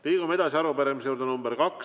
Liigume edasi tänase teise arupärimise juurde.